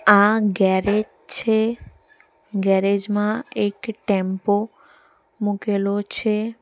આ ગેરેજ છે ગેરેજ માં એક ટેમ્પો મુકેલો છે.